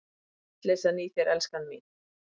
Vitleysan í þér, elskan mín!